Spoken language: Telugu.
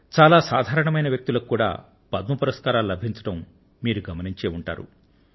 చాలా సాధారణమైన వ్యక్తులకు కూడా పద్మ పురస్కారాలు లభించడం మీరూ గమనించే ఉంటారు